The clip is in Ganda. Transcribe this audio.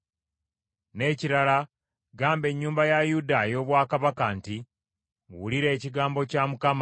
“N’ekirala gamba ennyumba ya Yuda ey’obwakabaka nti, ‘Wulira ekigambo kya Mukama ;